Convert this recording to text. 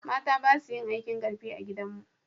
mata basu yin aikin karfi a gidan mu